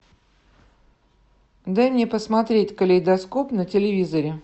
дай мне посмотреть калейдоскоп на телевизоре